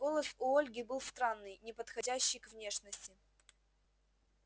голос у ольги был странный неподходящий к внешности